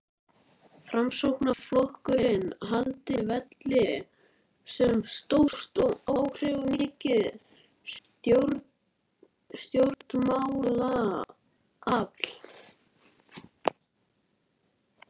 Framsóknarflokkurinn haldi velli sem stórt og áhrifamikið stjórnmálaafl.